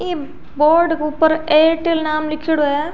इ बोर्ड के ऊपर एयरटेल नाम लीखेड़ो है।